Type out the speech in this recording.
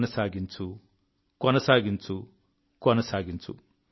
కొనసాగించు కొనసాగించు కొనసాగించు